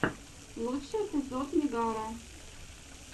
лучший эпизод мегара